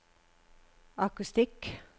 akustikk